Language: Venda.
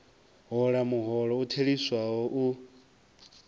hola muholo u theliswaho u